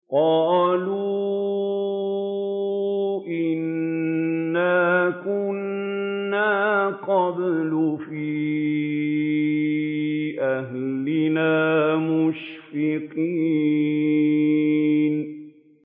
قَالُوا إِنَّا كُنَّا قَبْلُ فِي أَهْلِنَا مُشْفِقِينَ